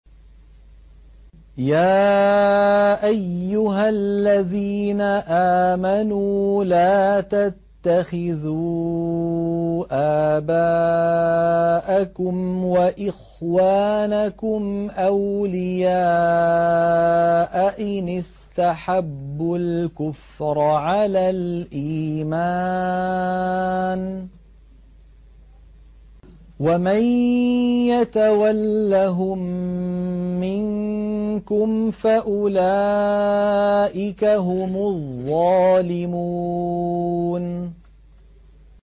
يَا أَيُّهَا الَّذِينَ آمَنُوا لَا تَتَّخِذُوا آبَاءَكُمْ وَإِخْوَانَكُمْ أَوْلِيَاءَ إِنِ اسْتَحَبُّوا الْكُفْرَ عَلَى الْإِيمَانِ ۚ وَمَن يَتَوَلَّهُم مِّنكُمْ فَأُولَٰئِكَ هُمُ الظَّالِمُونَ